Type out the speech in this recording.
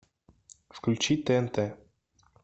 включи тнт